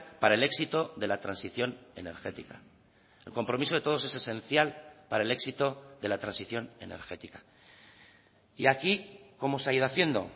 para el éxito de la transición energética el compromiso de todos es esencial para el éxito de la transición energética y aquí cómo se ha ido haciendo